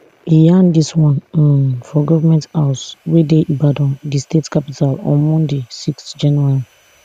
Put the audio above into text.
e yarn dis one um for goment house wey dey ibadan di state capital on monday six january